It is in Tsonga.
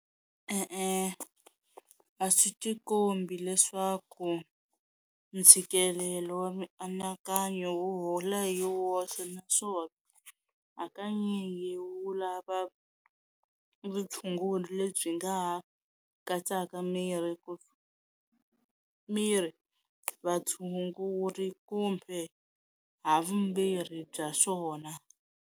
E-e a swi tikombi leswaku ntshikelelo wa mianakanyo wu hola hi woxe naswona hakanyingi wu lava vutshunguri lebyi nga ha katsaka miri ku miri vatshunguri kumbe ha vumbirhi bya swona.